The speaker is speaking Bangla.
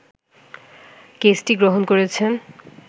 কেসটি গ্রহণ করেছেন